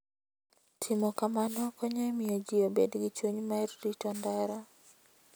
Timo kamano konyo e miyo ji obed gi chuny mar rito ndara.